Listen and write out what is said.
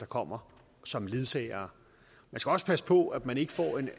kommer som ledsagere vi skal også passe på at man ikke får